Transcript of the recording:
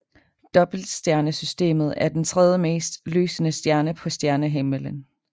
Dobbeltstjernesystemet er den tredjemest lysende stjerne på stjernehimmelen